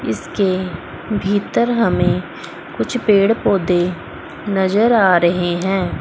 इसके भीतर हमें कुछ पेड़ पौधे नजर आ रहे हैं।